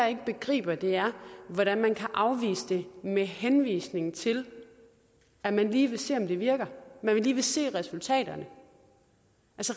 ikke begriber er hvordan man kan afvise det med henvisning til at man lige vil se om det virker at man lige vil se resultaterne